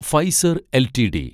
Pfizer LTD